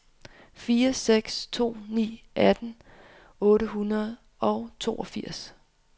fire seks to ni atten otte hundrede og toogfirs